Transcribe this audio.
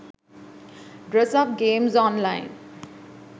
dress up games online